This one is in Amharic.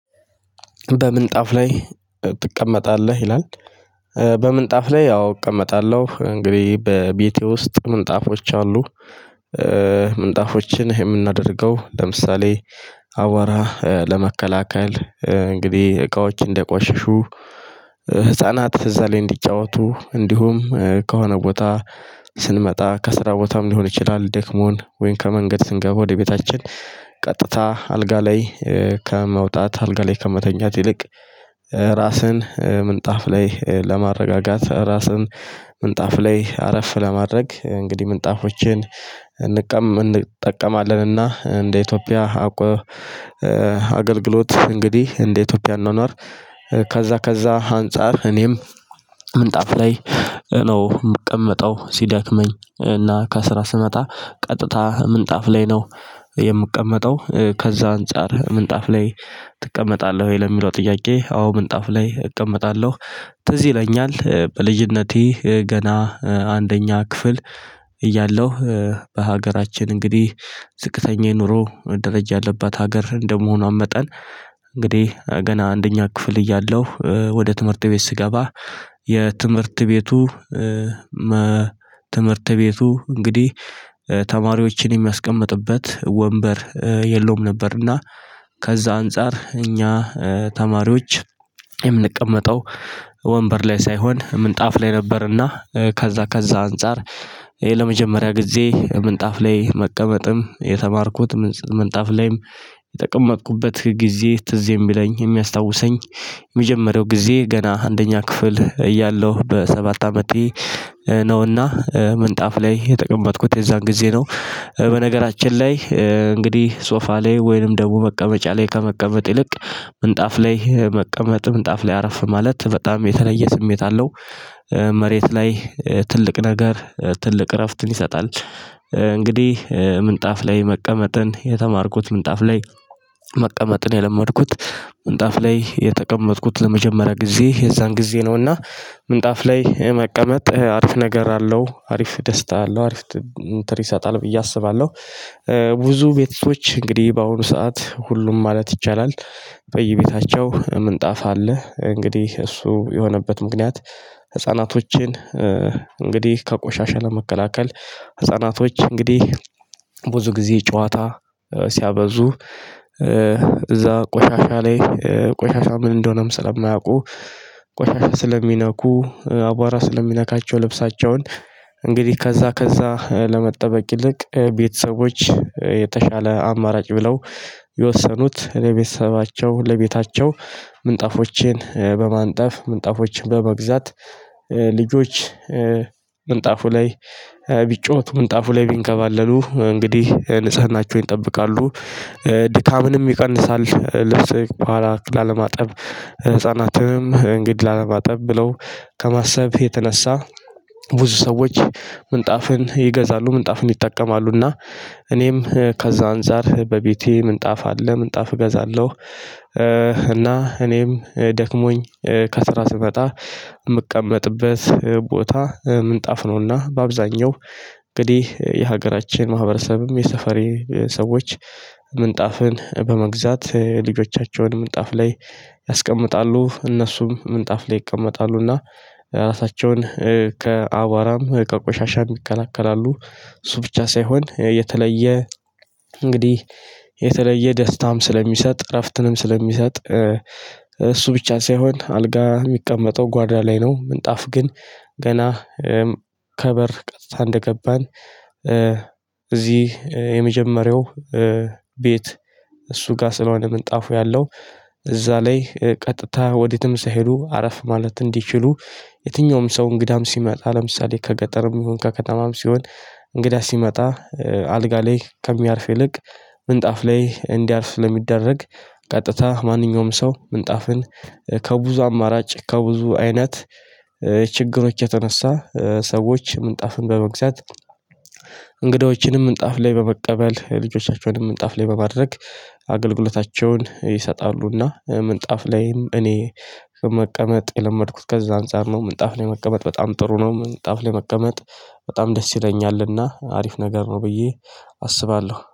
በምንጣፍ ላይ ትቀመጣለህ ይላል? በምንጣፍ ላይ ያው እቀመጣለሁ እንግዲህ በቤቴ ውስጥ ምንጣፎች አሉ። ምንጣፎችን የምናደርገው ለምሳሌ አቧራ ለመከላከል እንግዲህ እቃዎች እንደቆሽሹ ህፃናት እዛ ላይ እንዲጫወቱ እንዲሁም ከሆነ ቦታ ስንመጣ ከስራ ቦታም ሊሆን ይችላል። ደክሞን ወይን ከመንገድ ስንገባ ወደ ቤታችን ቀጥታ አልጋ ላይ ከመውጣት አልጋ ላይ ከመተኛት ይልቅ ራስን ምንጣፍ ላይ ለማረጋጋት ራስን ምንጣፍ ላይ አረፍ ለማድረግ እንግዲህ ምጣፎችን እንጠቀማለንና። እንደ ኢትዮጵያ አገልግሎት እንግዲህ እንደ ኢትዮጵያ አኗኗር። ከዛ ከዛ አንፃር እኔም ምንጣፍ ላይ ነው የምቀመጠው። ሲዳክመኝ እና ከስራ ስመጣ ቀጥታ ምንጣፍ ላይ ነው የምቀመጠው። ከዛ አንፃር ምንጣፍ ላይ ትቀመጣለህ ወይ ለሚለው ጥያቄ አዎ ምንጣፍ ላይ እቀመጣለሁ። ትዝ ይለኛል በልጅነቴ ገና አንደኛ ክፍል እያለሁ በሀገራችን እንግዲህ ዝቅተኛ የኑሮ ደረጃ ያለባት ሀገር እንደመሆኗም መጠን እንግዲህ ገና አንደኛ ክፍል እያለሁ ወደ ትምህርት ቤት ስገባ የትምህርት ቤቱ። ትምህርት ቤቱ እንግዲህ ተማሪዎችን የሚያስቀምጥበት ወንበር የለውም ነበርና ከዛ አንፃር እኛ ተማሪዎች የምንቀመጠው ወንበር ላይ ሳይሆን ምንጣፍ ላይ ነበርና። ከዛ ከዛ አንፃር ይሄ ለመጀመሪያ ጊዜ ምንጣፍ ላይ መቀመጥም የተማርኩት ምንጣፍ ላይም የጠቀመቅኩበት ጊዜ ትዝ የሚለኝ የሚያስታውሰኝ። የመጀመሪያው ጊዜ ገና አንደኛ ክፍል እያለሁ በሰባት አመቴ ነውና ምንጣፍ ላይ የጠቀመጥኩት የዛን ጊዜ ነው። በነገራችን ላይ እንግዲህ ሶፋ ላይ ወይንም ደግሞ መቀመጫ ላይ ከመቀመጥ ይልቅ ምንጣፍ ላይ መቀመጥም ምንጣፍ ላይ አረፍ ማለት በጣም የተለየ ስሜት አለው። መሬት ላይ ትልቅ ነገር ትልቅ እረፍትን ይሰጣል። እንግዲህ ምንጣፍ ላይ መቀመጥን የተማርኩት ምንጣፍ ላይ መቀመጥን የለመድኩት ምንጣፍ ላይ የተቀመጥኩት ለመጀመሪያ ጊዜ የዛን ጊዜ ነውና ምንጣፍ ላይ መቀመጥ አሪፍ ነገር አለው አሪፍ ደስታ አለው አሪፍ እንትን ይሳጣል ብዬ አስባለሁ። ብዙ ቤቶች እንግዲህ በአሁኑ ሰዓት ሁሉም ማለት ይቻላል በየቤታቸው ምንጣፍ አለ። እንግዲህ እሱ የሆነበት ምክንያት ህፃናቶችን እንግዲህ ከቆሻሻ ለመከላከል ህፃናቶች እንግዲህ ብዙ ጊዜ ጨዋታ ሲያበዙ። እዛ ቆሻሻ ላይ ቆሻሻ ምን እንደሆነም ስለማያውቁ ቆሻሻ ስለሚነኩ አቧራ ስለሚነካቸው ልብሳቸውን እንግዲህ ከዛ ከዛ ለመጠበቅ ይልቅ ቤተሰቦች የተሻለ አማራጭ ብለው የወሰኑት ለቤተሰባቸው ለቤታቸው ምንጣፎቼን በማንጠፍ ምንጣፎችን በመግዛት ልጆች ምንጣፉ ላይ ቢጫወቱ ምንጣፉ ላይ ቢንከባለሉ እንግዲህ ንጽህናቸውን ይጠብቃሉ። ድካምንም ይቀንሳል ልብስ በኋላ ላለማጠብ ህፃናትንም እንግድ ላለማጠብ ብለው ከማሰብ የተነሳ ብዙ ሰዎች ምንጣፍን ይገዛሉ ምንጣፍን ይጠቀማሉና። እኔም ከዛ አንፃር በቤቴ ምንጣፍ አለ ምንጣፍ እገዛለሁ። እና እኔም ደክሞኝ ከስራ ስመጣ የምቀመጥበት ቦታ ምንጣፍ ነውና በአብዛኛው እንግዲህ የሀገራችን ማህበረሰብም የሰፈሬ ሰዎች ምንጣፍን በመግዛት ልጆቻቸውን ምንጣፍ ላይ ያስቀምጣሉ እነሱም ምንጣፍ ላይ ይቀመጣሉና። ራሳቸውን ከአቧራም ከቆሻሻም ይከላከላሉ። እሱ ብቻ ሳይሆን የተለየ እንግዲህ የተለየ ደስታም ስለሚሰጥ እረፍትንም ስለሚሰጥ እሱ ብቻ ሳይሆን አልጋ የሚቀመጠው ጓዳ ላይ ነው። ምንጣፍ ግን ገና ከበር ቀጥታ እንደገባን እዚህ የመጀመሪያው ቤት እሱ ጋር ስለሆነ ምን ጣፉ ያለው? እዛ ላይ ቀጥታ ወዴትም ሳይሄዱ አረፍ ማለት እንዲችሉ። የትኛውም ሰው እንግዳም ሲመጣ ለምሳሌ ከገጠርም ይሁን ከከተማም ሲሆን እንግዳ ሲመጣ አልጋ ላይ ከሚያርፍ ይልቅ ምንጣፍ ላይ እንዲያርፍ ስለሚደረግ። ቀጥታ ማንኛውም ሰው ምንጣፍን ከብዙ አማራጭ ከብዙ አይነት ችግሮች የተነሳ ሰዎች ምንጣፍን በመግዛት። እንግዶችንም ምንጣፍ ላይ በመቀበል ልጆቻቸውንም ምንጣፍ ላይ በማድረግ አገልግሎታቸውን ይሰጣሉና። ምንጣፍ ላይም እኔ መቀመጥ የለመድኩት ከዛ አንፃር ነው ምንጣፍ ላይ መቀመጥ በጣም ጥሩ ነው። ምንጣፍ ላይ መቀመጥ በጣም ደስ ይለኛልና አሪፍ ነገር ነው ብዬ አስባለሁ